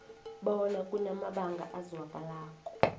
bona kunamabanga azwakalako